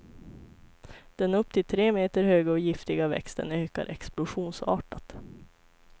Den upp till tre meter höga och giftiga växten ökar explosionsartat.